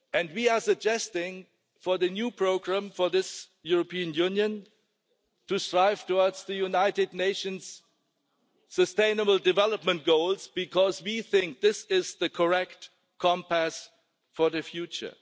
We are suggesting for the new programme for this European Union to strive towards the United Nations sustainable development goals, because we think this is the correct compass for the future.